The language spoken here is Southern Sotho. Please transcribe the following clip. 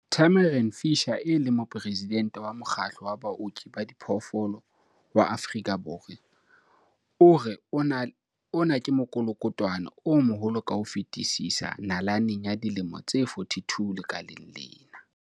Tamarin Fisher, e leng Moporesidente wa Mokgatlo wa Baoki ba Diphoofolo wa Afrika Borwa, o re ona ke mokolokotwane o moholo ka ho fetisisa nalaneng ya dilemo tse 42 lekaleng lena.